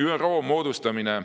ÜRO moodustamine